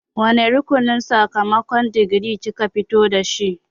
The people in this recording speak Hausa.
Wane rukunin sakamakon digiri kika fita da shi0?